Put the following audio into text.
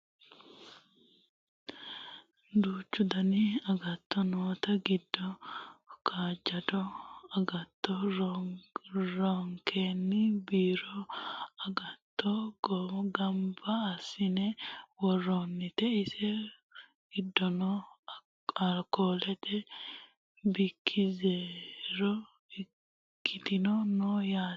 duuchu dani agatto noote giddo kaajjado agatto roorenkanni biiru agatto ganba assine worroonnite insa giddono alkoolete bikki zeero ikkinotino no yaate